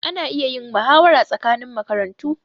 Ana iya yin mahawara tsakanin makarantu.